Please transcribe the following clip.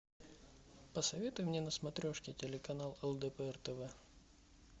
посоветуй мне на смотрешке телеканал лдпр тв